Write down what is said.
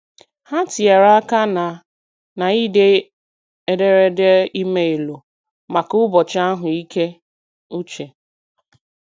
Ha tinyere aka na na - ide ederede emailu maka ụbọchị ahụ ike uche.